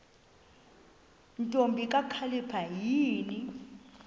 ntombi kakhalipha yini